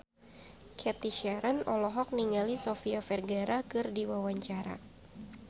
Cathy Sharon olohok ningali Sofia Vergara keur diwawancara